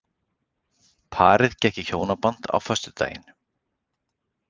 Parið gekk í hjónaband á föstudaginn